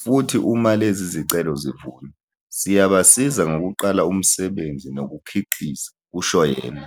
futhi uma lezi zicelo zivunywa, siyabasiza ngokuqala umsebenzi nokukhiqiza," kusho yena.